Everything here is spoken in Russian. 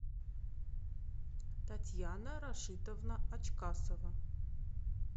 татьяна рашитовна ачкасова